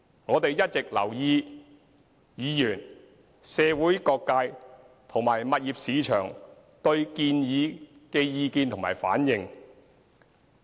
我們一直留意議員、社會各界和物業市場對建議的意見和反應。